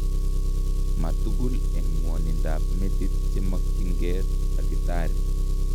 Ma tugul eng' ng'wonindab metit chemakyinkee takitari